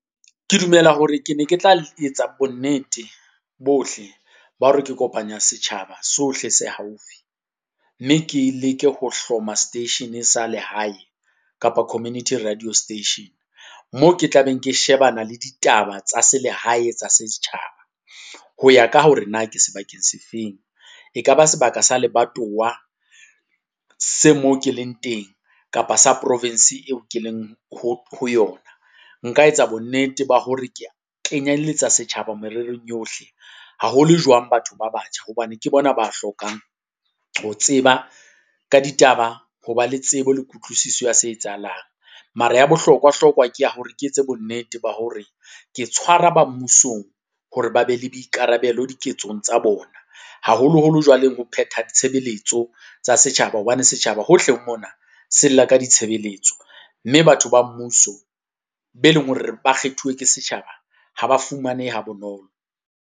Ke dumela hore ke ne ke tla etsa bonnete bohle ba hore ke kopanya setjhaba sohle se haufi. Mme ke leke ho hloma seteishene sa lehae kapa community radio station. Moo ke tla beng ke shebana le ditaba tsa selehae tsa setjhaba. Ho ya ka hore na ke sebakeng se feng, e ka ba sebaka sa lebatowa se moo ke leng teng, kapa sa provinseng eo ke leng ho ho yona. Nka etsa bonnete ba hore ke kenyelletsa setjhaba mererong yohle, haholo jwang batho ba batjha hobane ke bona ba hlokang ho tseba ka ditaba, ho ba le tsebe le kutlwisiso ya se etsahalang. Mara ya bohlokwa-hlokwa ke hore ke etse bonnete ba hore ke tshwara ba mmusong hore ba be le boikarabelo diketsong tsa bona, haholoholo jwaleng ho phetha ditshebeletso tsa setjhaba hobane setjhaba hohle mona se lla ka ditshebeletso, mme batho ba mmuso be leng hore ba kgethuwe ke setjhaba, ha ba fumanehe ha bonolo.